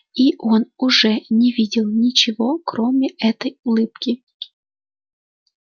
и он уже не видел ничего кроме это улыбки